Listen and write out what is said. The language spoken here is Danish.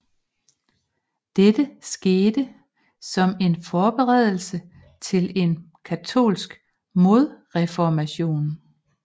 Dette skete som en forberedelse til en katolsk modreformation